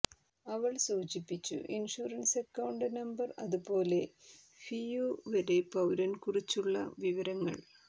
അവൾ സൂചിപ്പിച്ചു insurance account number അതുപോലെ ഫിഉ വരെ പൌരൻ കുറിച്ചുള്ള വിവരങ്ങൾ